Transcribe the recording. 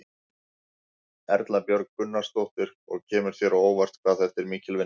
Erla Björg Gunnarsdóttir: Og kemur þér á óvart hvað þetta er mikil vinna?